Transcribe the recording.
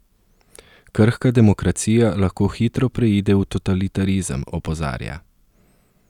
Krhka demokracija lahko hitro preide v totalitarizem, opozarja.